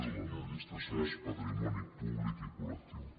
de l’administració és patrimoni públic i col·lectiu